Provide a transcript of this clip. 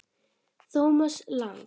Thomas Lang